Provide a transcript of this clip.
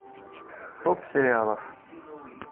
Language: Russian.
топ сериалов